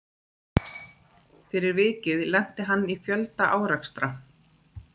Fyrir vikið lenti hann í fjölda árekstra.